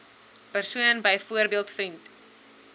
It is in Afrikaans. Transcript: persoon byvoorbeeld vriend